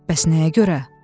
Bəs nəyə görə?